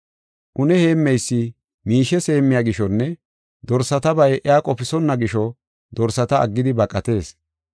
Une heemmeysi miishes heemmiya gishonne dorsatabay iya qofisonna gisho dorsata aggidi baqatees.